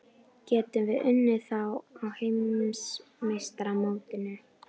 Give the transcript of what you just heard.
Getum við unnið þá á Heimsmeistaramótinu?